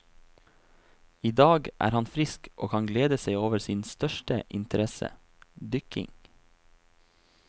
I dag er han frisk og kan glede seg over sin største interesse, dykking.